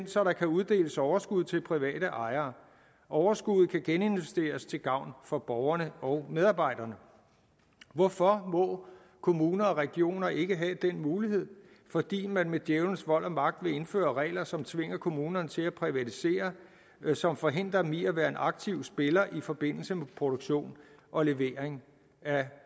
så der kan uddeles overskud til private ejere overskuddet kan geninvesteres til gavn for borgerne og medarbejderne hvorfor må kommuner og regioner ikke have den mulighed fordi man med djævlens vold og magt vil indføre regler som tvinger kommunerne til at privatisere og som forhindrer dem i at være aktive spillere i forbindelse med produktion og levering af